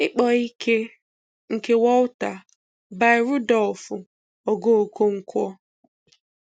Ịkpọ́ Ìké nke Walter by Rudolf Ogoo Okonkwo